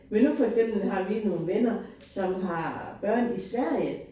Men nu for eksempel har vi nogle venner som har børn i Sverige